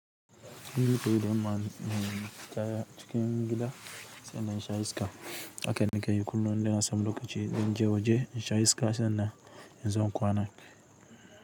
Inda ta yi dan ma ni kaya cikin gida sannan sha iska. Hakan nakayi kullum don a samu lokaci don je waje in sha iska sannan in zo in kwanan.